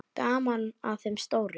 Gaman að þeim stóru.